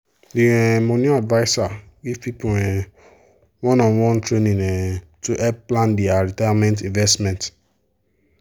the um money adviser give people um one-on-one training um to help plan their retirement investment.